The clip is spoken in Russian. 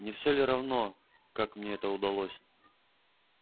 не все ли равно как мне это удалось